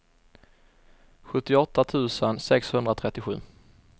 sjuttioåtta tusen sexhundratrettiosju